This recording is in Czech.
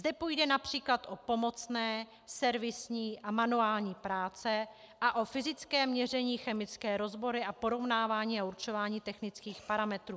Zde půjde například o pomocné, servisní a manuální práce a o fyzické měření, chemické rozbory a porovnávání a určování technických parametrů.